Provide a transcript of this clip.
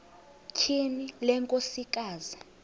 tyhini le nkosikazi